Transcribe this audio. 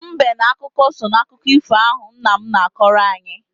Mbe na ọkụkọ so n'akụkọ ifo ahụ nna m na-akọrọ anyị.